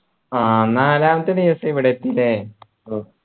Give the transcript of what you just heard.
ആ നാലാമത്തെ ദിവസം ഇവിടെ എത്തിയല്ലേ ഓ